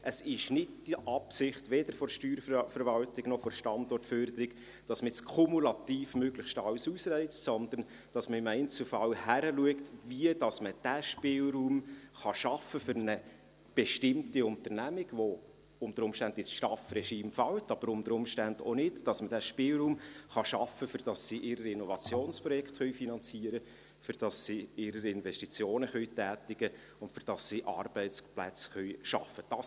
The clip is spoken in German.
Es ist nicht die Absicht, weder der Steuerverwaltung noch der Standortförderung, dass man nun kumulativ möglichst alles ausreizt, sondern dass man im Einzelfall hinschaut, wie man diesen Spielraum für ein bestimmtes Unternehmen schaffen kann – das unter Umständen ins STAF-Regime fällt, aber unter Umständen auch nicht –, damit man den Spielraum schaffen kann, dass die Unternehmen ihre Innovationsprojekte finanzieren können, dass sie ihre Investitionen tätigen können und damit sie Arbeitsplätze schaffen können.